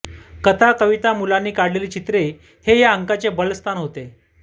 कथा कविता मुलांनी काढलेली चित्रे हे या अंकाचे बलस्थान होते